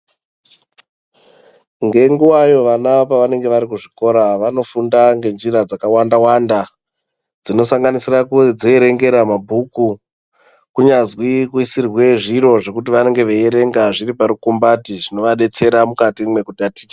Ngenguva iyo vana pavanenge vari kuzvikora, vanofunda ngenjira dzakawanda -wanda, dzinosanganisira kudzierengera mabhuku, kunyazwi kuisirwe zviro zvekuti vanenge veierenga zviri parukumbati, zvinovadetsera mukati mwekutaticha.